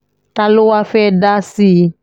ta ló wáá fẹ́ẹ́ dá sí i